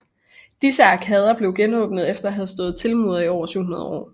Disse arkader blev genåbnede efter at have stået tilmurede i over 700 år